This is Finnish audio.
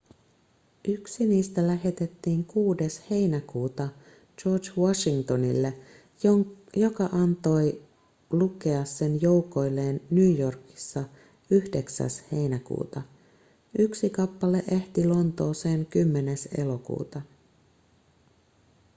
yksi niistä lähetettiin 6 heinäkuuta george washingtonille joka antoi lukea sen joukoilleen new yorkissa 9 heinäkuuta yksi kappale ehti lontooseen 10 elokuuta